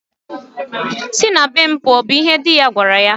Si na be m pụọ! bụ ihe di ya gwara ya.